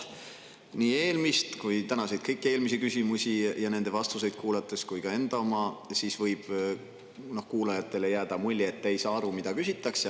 Nii eelmist küsimust kui ka kõiki tänaseid eelmisi küsimusi ja nende vastuseid kuulates – ka minu enda –, võib kuulajatele jääda mulje, et te ei saa aru, mida küsitakse.